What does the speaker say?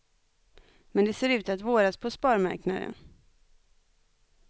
Men det ser ut att våras på sparmarknaden.